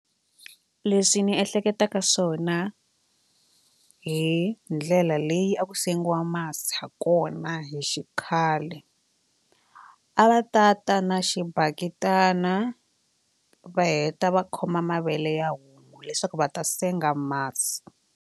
Leswi ni ehleketaka swona hi ndlela leyi a ku sengiwa masi ha kona hi xikhale a va ta ta na xibaketani va heta va khoma mavele ya homu leswaku va ta senga masi.